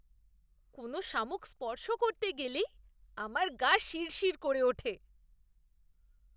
কোনও শামুক স্পর্শ করতে গেলেই আমার গা শিরশির করে ওঠে।